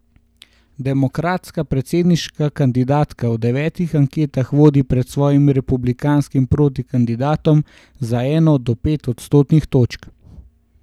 Demokratska predsedniška kandidatka v devetih anketah vodi pred svojim republikanskim protikandidatom za eno do pet odstotnih točk.